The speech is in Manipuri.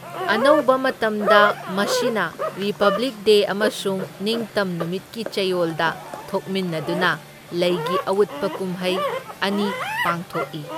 ꯑꯅꯧꯕ ꯃꯇꯝꯗ ꯃꯁꯤꯅ ꯔꯤꯄꯕ꯭ꯂꯤꯛ ꯗꯦ ꯑꯃꯁꯨꯡ ꯅꯤꯡꯇꯝ ꯅꯨꯃꯤꯠꯀꯤ ꯆꯌꯣꯜꯗ ꯊꯣꯛꯃꯤꯟꯅꯗꯨꯅ ꯂꯩꯒꯤ ꯑꯎꯠꯄ ꯀꯨꯝꯍꯩ ꯑꯅꯤ ꯄꯥꯡꯊꯣꯛꯏ꯫